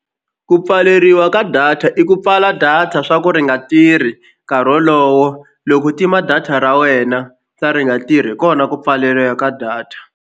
Ku pfaleriwa ka data i ku pfala data swa ku ri nga tirhi nkarhi wolowo loko tima data ra wena sa ri nga tirhi hi kona ku pfaleriwa ka data.